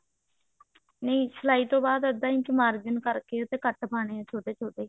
ਨਹੀ ਸਲਾਈ ਤੋਂ ਬਾਅਦ ਅੱਧਾ ਇੰਚ margin ਕਰਕੇ ਉਹਦੇ ਤੇ ਕੱਟ ਪਾਣੇ ਆ ਛੋਟੇ ਛੋਟੇ